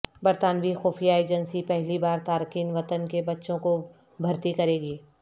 برطانوی خفیہ ایجنسی پہلی بار تارکین وطن کے بچوں کو بھرتی کرے گی